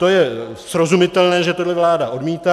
To je srozumitelné, že to vláda odmítá.